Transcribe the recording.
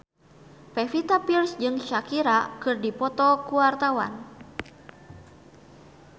Pevita Pearce jeung Shakira keur dipoto ku wartawan